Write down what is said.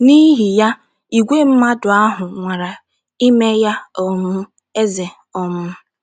N’ihi ya, ìgwè mmadụ ahụ nwara ime ya um eze. um